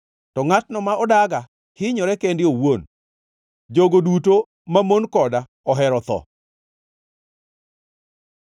To ngʼatno ma odaga hinyore kende owuon; jogo duto mamon koda ohero tho.”